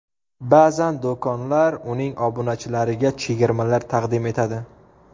Ba’zan do‘konlar uning obunachilariga chegirmalar taqdim etadi.